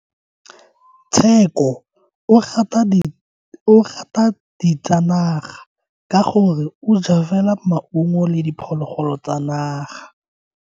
Tsheko o rata ditsanaga ka gore o ja fela maungo le diphologolo tsa naga.